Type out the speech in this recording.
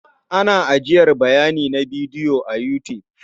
Ana ajiyar bayanai na bidiyo a You tube.